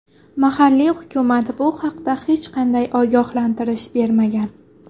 Mahalliy hukumat bu haqda hech qanday ogohlantirish bermagan.